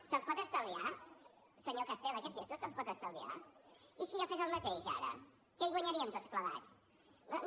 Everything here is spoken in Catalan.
se’ls pot estalviar senyor castel aquests gestos se’ls pot estalviar i si jo fes el mateix ara què hi guanyaríem tots plegats no no